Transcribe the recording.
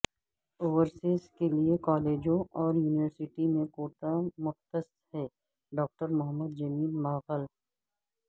overseas کیلئے کالجوں اور یونیورسٹی میں کوٹہ مختص ہے ڈاکٹر محمد جمیل مغل